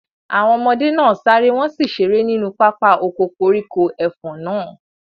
Àwọn ọmọdé náà sáré, wọn sì ṣeré nínú pápá oko koríko ẹfọ̀n náà.